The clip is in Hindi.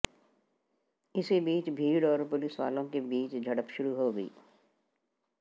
इसी बीच भीड़ और पुलिसवालों के बीच झड़प शुरू हो गई